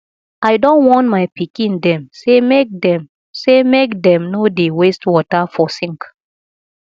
i don warn my pikin dem sey make dem sey make dem no dey waste water for sink